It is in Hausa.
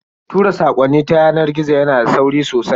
Tura sakonni ta yanar gizo yana da sauri sosai.